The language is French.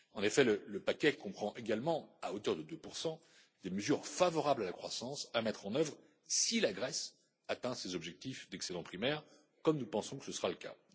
En effet, le paquet comprend également à hauteur de 2 des mesures favorables à la croissance à mettre en œuvre si la Grèce atteint ses objectifs d'excédent primaire, comme nous pensons que ce sera le